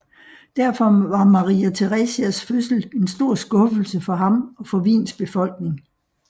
Derfor var Maria Theresias fødsel en stor skuffelse for ham og for Wiens befolkning